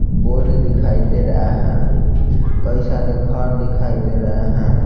Board दिखाई दे रहा है कई सारे घर दिखाई दे रहे हैं ।